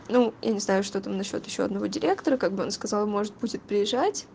ну я не знаю что там насчёт ещё одного директора как бы он сказал может будет приезжать